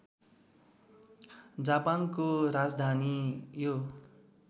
जापानको राजधानी यो